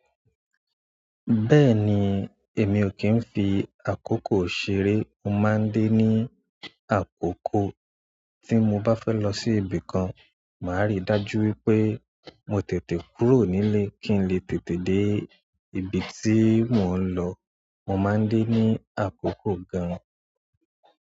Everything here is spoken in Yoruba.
Bẹ́ẹ̀ni, èmi o kín fi àkókò ṣeré, mo máa ń dé ní àkókò tí mo bá fẹ́ lọ sí ibi kan, màá rí dájú wípé mo tètè kúrò nílé kí n lè tètè dé ibi tí mò ń lọ. Mo maa n de ni akoko gaan.